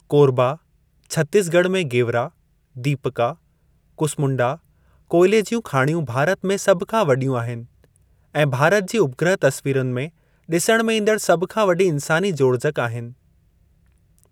कोरबा, छत्तीसगढ़ में गेवरा, दीपका, कुसमुंडा कोयले ज्यूं खाणियूं भारत में सभ खां वडि॒यूं आहिनि ऐं भारत जी उपग्रह तस्वीरनि में डि॒सणु में ईंदड़ु सभ खां वडी॒ इन्सानी जोड़जकि आहिनि।